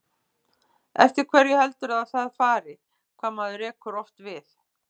Eftir hverju heldurðu að það fari, hvað maður rekur oft við?